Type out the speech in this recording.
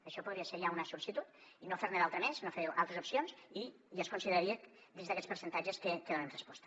això podria ser ja una sol·licitud i no fer ne d’altra més no fer altres opcions i ja es consideraria dins d’aquests percentatges que donem resposta